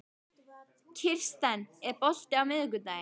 Kirsten, er bolti á miðvikudaginn?